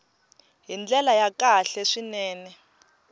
hi ndlela ya kahle swinene